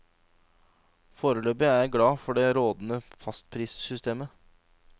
Foreløpig er jeg glad for det rådende fastprissystemet.